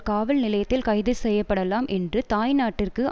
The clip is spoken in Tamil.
காவல் நிலையத்தில் கைது செய்ய படலாம் என்று தாய்நாட்டிற்கு